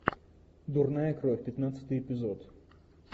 дурная кровь пятнадцатый эпизод